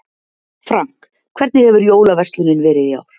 Frank, hvernig hefur jólaverslunin verið í ár?